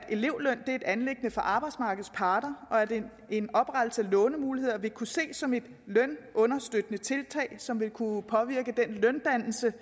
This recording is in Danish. elevløn er et anliggende for arbejdsmarkedets parter og at en oprettelse af lånemuligheder vil kunne ses som et lønunderstøttende tiltag som vil kunne påvirke den løndannelse